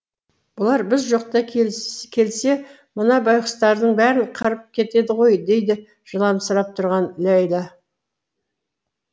бұлар біз жоқта келсе мына байғұстардың бәрін қырып кетеді ғой дейді жыламсырап тұрған ләйлә